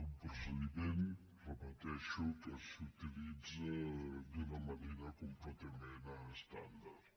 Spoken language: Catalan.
un procediment ho repeteixo que s’utilitza d’una manera completament estàndard